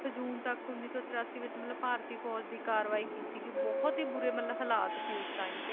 ਹਟਾਉਣ ਲਈ ਹੁਕਮ ਦੇ ਦਿੱਤਾ ਸੀਗਾ ਇੱਕ ਤੋਂ ਲੈ ਕੇ ਅੱਠ ਜੂਨ ਤੱਕ ਉੱਨੀ ਸੌ ਤਰਾਸ਼ੀ ਵਿੱਚ ਮਤਲਬ ਦੇ ਵਿੱਚ ਭਾਰਤੀ ਫੌਜ਼ ਦੇ ਕਾਰਵਾਈ ਕੀਤੀ ਗਈ ਬਹੁਤ ਹੀ ਬੁਰੇ ਮਤਲਬ ਹਲਾਤ ਸੀ ਉਸ time ਤੇ